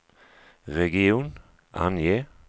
region, ange